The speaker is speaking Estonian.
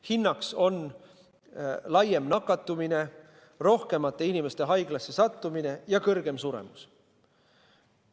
Hinnaks on laiem nakatumine, rohkemate inimeste haiglasse sattumine ja kõrgem suremus.